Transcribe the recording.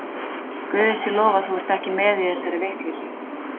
Guði sé lof að þú ert ekki með í þessari vitleysu.